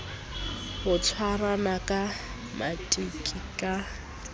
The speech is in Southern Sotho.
ho tshwarana ka maqiti ka